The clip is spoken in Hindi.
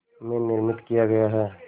में निर्मित किया गया है